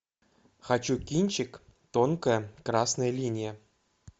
хочу кинчик тонкая красная линия